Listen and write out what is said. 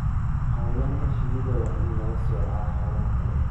Xayawaanka shinnida waa in laga soocaa xoolaha kale.